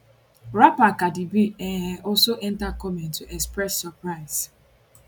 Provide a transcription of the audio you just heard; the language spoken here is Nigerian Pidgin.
rapper cardi b um also enta comment to express surprise